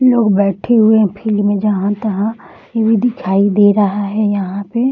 लोग बैठे हुए है फील्ड में जहाँ-तहाँ ये भी दिखाई दे रहा है यहाँ पे ।